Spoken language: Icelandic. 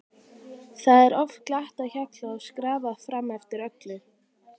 Það er oft glatt á hjalla og skrafað fram eftir öllu.